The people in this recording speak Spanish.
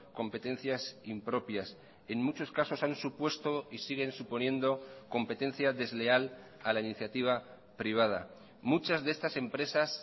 competencias impropias en muchos casos han supuesto y siguen suponiendo competencia desleal a la iniciativa privada muchas de estas empresas